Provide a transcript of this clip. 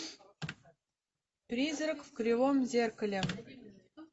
призрак в кривом зеркале